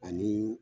Ani